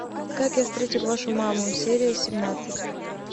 как я встретил вашу маму серия семнадцать